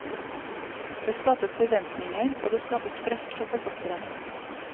Det skapes forventninger, og det skapes press på forfatteren.